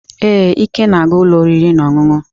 Ee, Ike na-aga ụlọ oriri na ọṅụṅụ.